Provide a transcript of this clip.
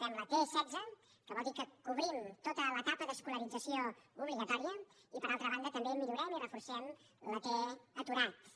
fem la t setze que vol dir que cobrim tota l’etapa d’escolarització obligatòria i per altra banda també millorem i reforcem la t aturat